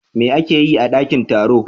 Me ake yi a dankin taro?